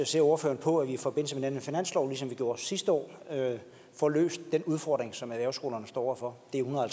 ser ordføreren på at vi i forbindelse med den her finanslov ligesom vi gjorde det sidste år får løst den udfordring som erhvervsskolerne står over for